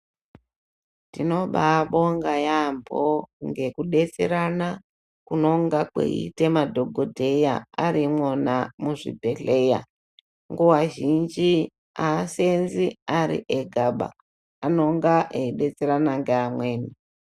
Tinobabonga yambo nekudetserana kunonga kweiita madhokodheya aeiimwona muzvibhedhlera nguwa zhinji aaseenzi ari egaba anonga eibetserana ngeamweni.